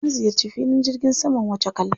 Na ziyarci filin jirgin saman Wachakal.